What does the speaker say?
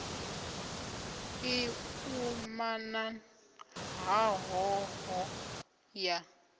i umana ha hoho ya